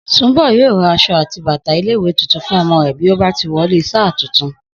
Sùnḿbọ̀ yóò ra aṣọ àti bàtà ilé ìwé tuntun fún ọmọ rẹ̀ bí ó bá ti wọlé sáà tuntun